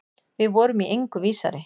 Við vorum í engu vísari.